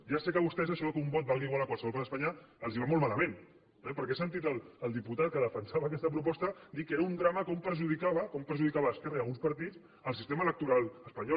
ja sé que a vostès això que un vot valgui igual a qualsevol part d’espanya els va molt malament eh perquè he sentit el diputat que defensava aquesta proposta dir que era un drama com perjudicava com perjudicava a esquerra i a alguns partits el sistema electoral espanyol